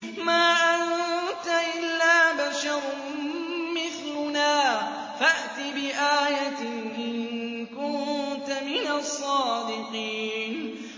مَا أَنتَ إِلَّا بَشَرٌ مِّثْلُنَا فَأْتِ بِآيَةٍ إِن كُنتَ مِنَ الصَّادِقِينَ